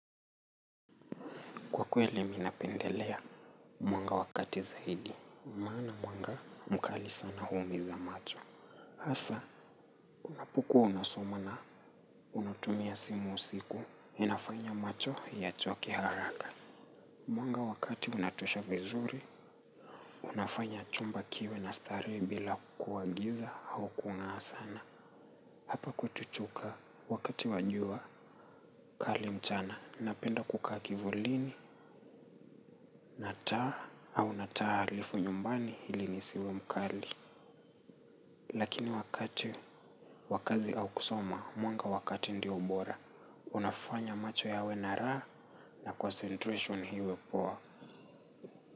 Kwa kweli, minapendelea mwanga wakati zaidi. Maana mwanga, mkali sana huumiza macho. Hasa, unapokua unasoma na unatumia simu usiku. Inafanya macho ya choke haraka. Mwanga wakati unatosha vizuri, unafanya chumba kiwe na starehe, bila kukua giza, au kungaa sana. Hapa kwetu chuka wakati wajua, kali mchana, napenda kukaa kivulini. Nataa au nataa halifu nyumbani hili nisiwe mkali. Lakini wakati wa kazi au kusoma, mwanga wakati ndio ubora. Unafanya macho yawe na raa na concentration hiwe poa.